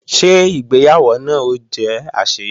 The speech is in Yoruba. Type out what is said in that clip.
Ṣé ìgbéyàwó náà ó jẹ́ àṣeyọrí